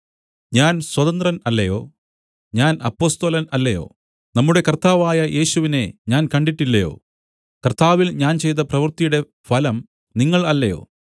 ഞാൻ സ്വതന്ത്രൻ അല്ലയോ ഞാൻ അപ്പൊസ്തലൻ അല്ലയോ നമ്മുടെ കർത്താവായ യേശുവിനെ ഞാൻ കണ്ടിട്ടില്ലയോ കർത്താവിൽ ഞാൻ ചെയ്ത പ്രവൃത്തിയുടെ ഫലം നിങ്ങൾ അല്ലയോ